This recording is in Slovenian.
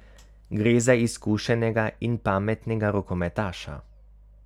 Gre za izkušenega in pametnega rokometaša.